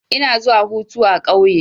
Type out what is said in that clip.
Ina zuwa hutu a ƙauye.